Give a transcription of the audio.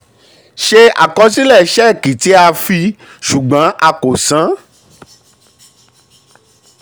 ṣe àkọsílẹ̀ ṣẹ́ẹ̀kì tí a fi ṣùgbọ́n a kò san.